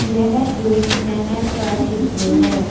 यह एक नहर का चित्र है।